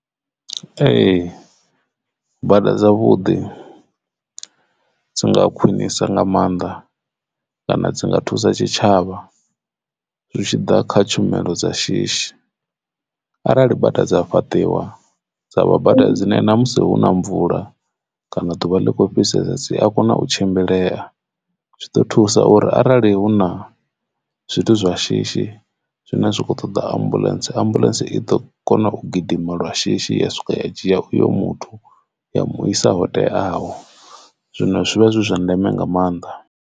Ee, bada dza vhuḓi dzi nga khwinisa nga maanḓa kana dzi nga thusa tshitshavha zwi tshi ḓa kha tshumelo dza shishi. Arali bada dza fhaṱiwa dza vha bada dzine na musi huna mvula kana ḓuvha ḽikho fhisesa dzi a kona u tshimbilea zwi ḓo thusa uri arali huna zwa shishi zwine zwa kho ṱoḓa ambuḽentse, ambuḽentse i ḓo kona u gidima lwa shishi ya swika ya dzhia uyo muthu ya mu isa hotea aho zwino zwivha zwi zwa ndeme nga maanḓa.